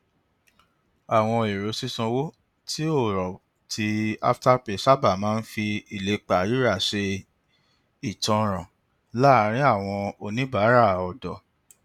àwọn èrò sísànwọ ti o rọ ti afterpay sábà máa ń fi ilépa rírà ṣe ìtanràn láàrin àwọn oníbàárà ọdọ